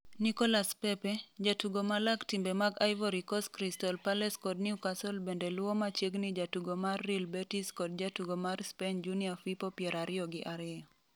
Nicolas Pepe, jatugo ma lak timbe mag Ivory Coast Crystal Palace kod Newcastle bende luwo machiegni jatugo mar Real Betis kod jatugo mar Spain Junior Firpo 22.